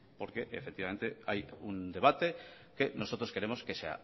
porque efectivamente hay un debate que nosotros queremos que se